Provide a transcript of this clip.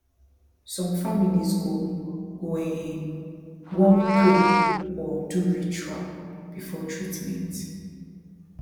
some families go go um wan pray or do ritual before treatment